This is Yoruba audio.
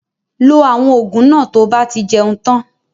Lo àwọn ògùn náà to bá ti jẹun tan